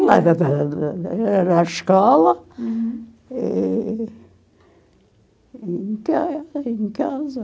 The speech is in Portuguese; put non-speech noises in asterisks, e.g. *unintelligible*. *unintelligible* na escola, hm, e e em casa e em casa